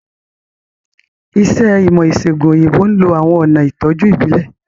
Iṣẹ́ ìmọ̀-ìṣẹ̀gùn òyìnbó ń lo àwọn ọ̀nà ìtọ́jú ìbílẹ̀.